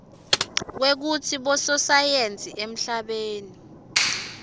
kwekutsi bososayensi emhlabeni